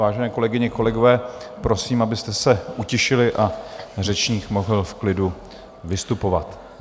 Vážené kolegyně, kolegové, prosím, abyste se utišili, a řečník mohl v klidu vystupovat.